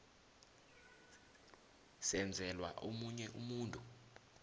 senzelwa omunye umuntu